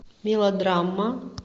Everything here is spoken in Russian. мелодрама